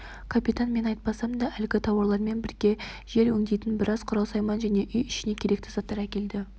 капитан мен айтпасам да әлгі тауарлармен бірге жер өңдейтін біраз құрал-сайман және үй-ішіне керекті заттар әкелді